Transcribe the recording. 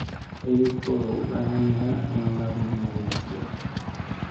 Xididku wuxuu u baahan yahay in la nadiifiyo.